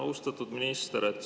Austatud minister!